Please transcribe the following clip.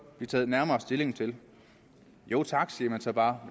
blive taget nærmere stilling til jo tak siger man så bare